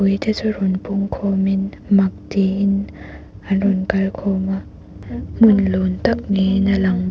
pui te chu rawn pung khawmin mak tiin an rawn kal khawm a hmun lun tak niin a lang bawk.